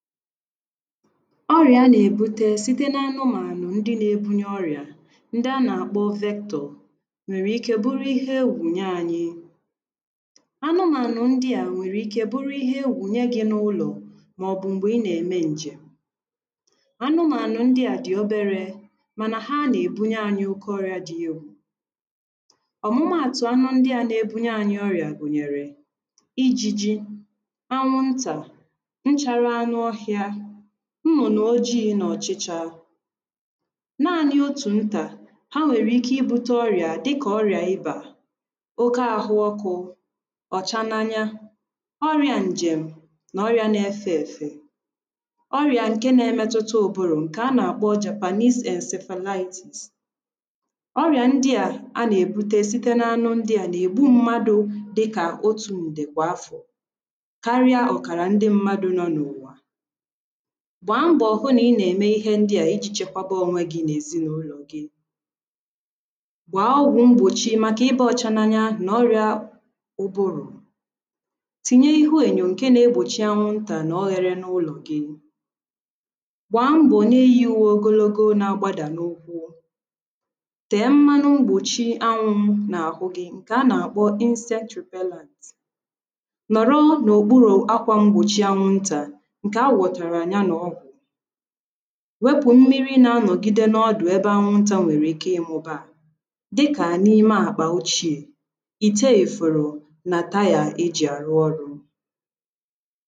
ọrị̀à a nà-èbute site n’anụmànụ̀ ndi na-ebunye ọrị̀à ndị a nà-àkpọ vektọ̀ nwèrè ike bụrụ ihe egwù nye anyị anụmànụ̀ ndị à nwèrè ike buru ihe egwù nye gị̄ n’ụlọ̀ màọ̀bụ̀ m̀gbè ị nà-ème ǹjèm̀ anụmànụ̀ ndị à dị̀ oberē mànà ha nà-èbunye ànyị oke ọrị̀à dị egwù ọ̀mụmaàtụ̀ anụ ndị à na-ebunye anyị ọrị̀à gụ̀nyèrè ijījī anwụntà nchārā anụ ohị̄ā nnụ̀nụ̀ ojiī nà ọ̀chịchā naānị̄ otù ntà̀ ha nwèrè ike ibūtē ọrị̀à dịkà ọrị̀à ibà oke ahụ ọkụ̄ ọ̀cha n’anya ọrị̄ā ǹjèm̀ nà ọrị̄ā na-efē èfè ọrị̀à nkè na-emetuta ụbụrụ̀ ǹkè a nà-àkpo jàpàsis ènsèfèlayitìs ọrìà ndị à anà-èbuta nà-ègbu mmadụ̄ dịkà otū ǹdè kwà afọ̀ karịa ọ̀kàrà ndị mmadụ̄ nọ n’ụ̀wà gbàa mbọ̀ hụ nà ị nà-ème ihe ndịà ijī chekwaba ònwe gị nà èzinàụlọ̀ gị gbàa ọgwụ̄ mgbòchi màkà ịbā ọcha n'anya nà ọrị̣̄ā ụbụrụ̀ tìnye ihu ènyò ǹke na-egbòchi anwụntà nà ọrị̄rị̄ n’ụlọ̀ gị gbàa mbọ̀ n’ihī ùwe ogologo na-agbadà n’ụkwụ tèe mmanụ mgbòchi n’àhụ gị̄ ǹkè anà-àkpọ insetrùpélānt nọ̀rọ n’òkpurū akwā m̀gbòchi ǹkè anwụntà ǹkè a wọ̀tàrà ya nà ọgwụ̀ wepụ̀ mmiri na-anọ̀gide ọdụ̀ ebe anwuntā nwèrè ike ịmụ̄baà dịkà n’ime àkpà ochīè ìte èfòrò nà tayà e jì ārụ ọrụ̄